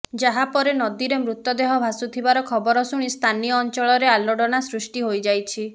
ଯାହା ପରେ ନଦୀରେ ମୃତଦେହ ଭାସୁଥିବାର ଖବର ଶୁଣି ସ୍ଥାନୀୟ ଅଞ୍ଚଳରେ ଆଲୋଡନା ସୃଷ୍ଟି ହୋଇଯାଇଛି